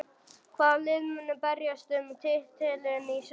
Hvaða lið munu berjast um titilinn í sumar?